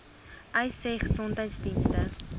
uys sê gesondheidsdienste